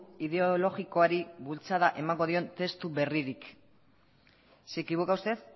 ideologikoari bultzada emango dion testu berririk se equivoca usted